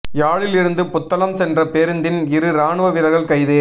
யாழில் இருந்து புத்தளம் சென்ற பேருந்தில் இரு இராணுவ வீரர்கள் கைது